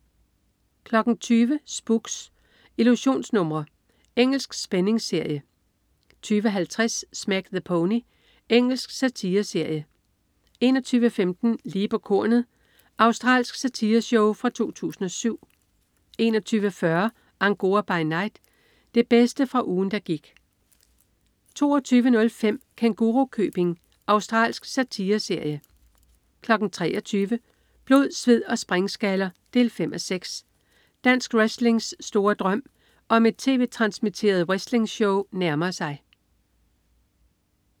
20.00 Spooks: Illusionsnumre. Engelsk spændingsserie 20.50 Smack the Pony. Engelsk satireserie 21.15 Lige på kornet. Australsk satireshow fra 2007 21.40 Angora by Night. Det bedste fra ugen der gik 22.05 Kængurukøbing. Australsk satireserie 23.00 Blod, sved & springskaller 5:6. Dansk wrestlings store drøm om et tv-transmitteret wrestlingshow nærmer sig